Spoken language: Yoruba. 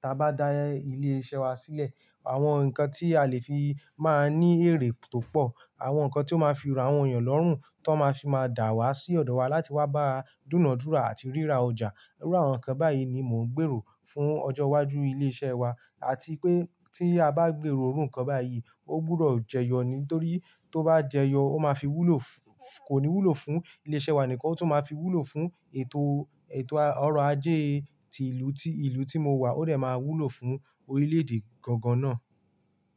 ta bá dá ilé iṣẹ́ wa sílẹ̀. Àwọn nǹkan tí a lè fi máa ní èrè tó pọ̀, àwọn nǹkan tí ó máa fi ran àwọn èèyàn lọ́rùn, tó máa fi máa dà wá sí ọ̀dọ̀ wa láti wá báa dúnàádúrà àti ríra ọjà. Irú àwọn nǹkan báyìí ni mò ń gbèrò fún ọjọ́ iwájú ilé iṣẹ́ wa àti pé tí a bá gbèrò irú nkán báyìí, ó gbúdọ̀ jẹyọ ni. Nítorí tó bá jẹyọ, ó máa fi wúlò, kò ní wúlò fún ilé iṣẹ́ wa nìkan, ó tún máa fi wúlò fún ètò, ètò ọrọ̀ ajé ti ìlú tí, ìlú tí mo wà, ó rẹ̀ máa wúlò fún orílẹ̀ èdè gangan náà.